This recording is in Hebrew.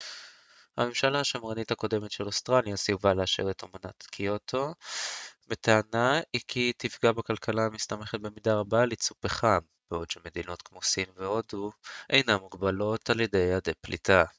הממשלה השמרנית הקודמת של אוסטרליה סירבה לאשר את אמנת קיוטו בטענה כי היא תפגע בכלכלתה המסתמכת במידה רבה על ייצוא פחם בעוד שמדינות כמו הודו וסין אינן מוגבלות על ידי יעדי פליטה